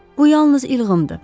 Bu yalnız ilğımdır.